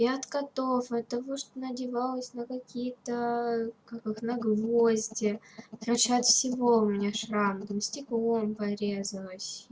и от котов и от того что надевалась на какие-то как их на гвозди короче от всего у меня шрам там стеклом порезалась